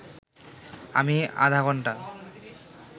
আমি আধা ঘণ্টা